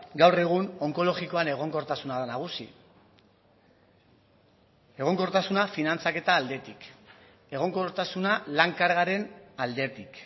gaur egun onkologikoan egonkortasuna da nagusi egonkortasuna finantzaketa aldetik egonkortasuna lan kargaren aldetik